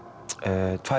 tvær